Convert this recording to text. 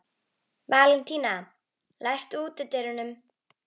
Valentína, læstu útidyrunum.